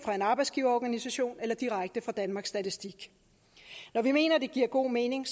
en arbejdsgiverorganisation eller direkte fra danmarks statistik når vi mener det giver god mening